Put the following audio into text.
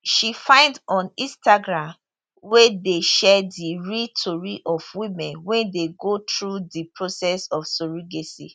she find on instagram wey dey share di real tori of women wey dey go through di process of surrogacy